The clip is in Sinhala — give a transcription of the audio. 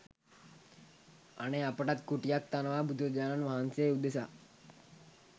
අනේ අපටත් කුටියක් තනවා බුදුරජාණන් වහන්සේ උදෙසා